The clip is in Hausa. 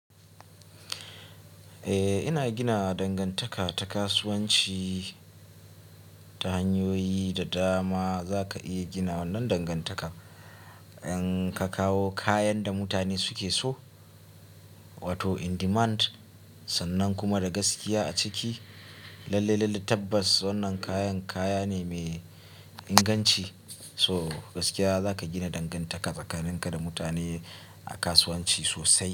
Eh, ina gina dangantaka ta kasuwanci ta hanyoyi da dama. Za ka iya gina wannan dangantaka in ka kawo kayan da mutane suke so, wato in demand, sannan kuma da gaskiya a ciki. Lallai lallai tabbas wannan kayan kaya ne mai inganci, so gaskiya za ka gina dangantaka tsakanin ka da mutane a kasuwanci sosai.